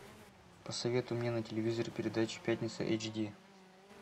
посоветуй мне на телевизоре передачу пятница эйч ди